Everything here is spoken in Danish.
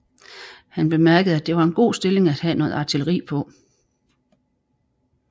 Han bemærkede at det var en god stilling at have noget artilleri på